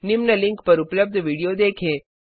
निम्न लिंक पर उपलब्ध विडियो देखें